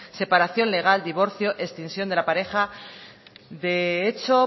separación legal divorcio extinción de la pareja de hecho